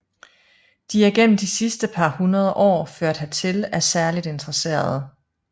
De er gennem de sidste par hundrede år ført hertil af særligt interesserede